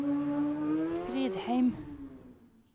Fridheim